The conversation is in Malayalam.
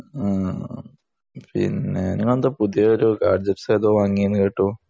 ആഹ് പിന്നെ ഇങ്ങളെന്താ പുതിയൊരു ഗാഡ്‌ജെക്ടസ് ഒക്കെ വാങ്ങിയെന്ന് കേട്ടു